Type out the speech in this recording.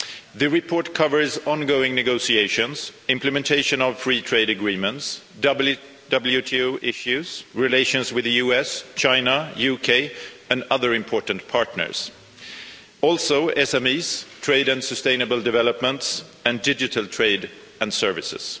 The report covers ongoing negotiations, implementation of free trade agreements, WTO issues, relations with the US, China, the UK and other important partners, as well as SMEs, trade and sustainable developments and digital trade and services.